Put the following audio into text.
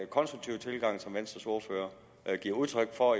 konstruktive tilgang som venstres ordfører giver udtryk for